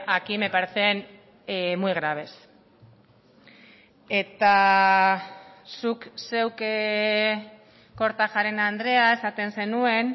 aquí me parecen muy graves eta zuk zeuk kortajarena andrea esaten zenuen